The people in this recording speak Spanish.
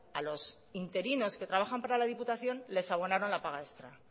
a los interinos que trabajan para la diputación les abonaron la paga extra